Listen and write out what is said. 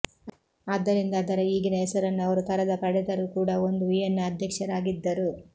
ಆದ್ದರಿಂದ ಅದರ ಈಗಿನ ಹೆಸರನ್ನು ಅವರು ತರದ ಪಡೆದರೂ ಕೂಡ ಒಂದು ವಿಯೆನ್ನಾ ಅಧ್ಯಕ್ಷರಾಗಿದ್ದರು